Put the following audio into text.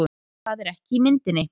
Það er ekki í myndinni